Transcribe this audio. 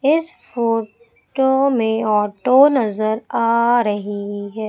इस photo में auto नजर आ रही है।